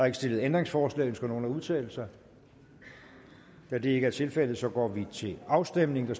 ikke stillet ændringsforslag ønsker nogen at udtale sig da det ikke er tilfældet går vi til afstemning